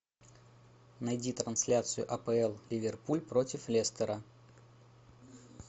найди трансляцию апл ливерпуль против лестера